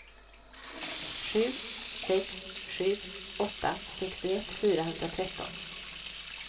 sju sex sju åtta sextioett fyrahundratretton